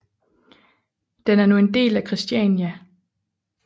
Den er nu en del af Christiania